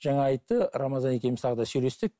жаңа айтты рамазан екеуміз тағы да сөйлестік